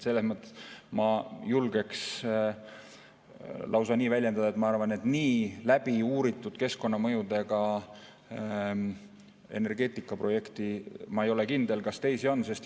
Selles mõttes ma julgeks lausa nii väljenduda, et minu arvates nii läbi uuritud keskkonnamõjudega energeetikaprojekte.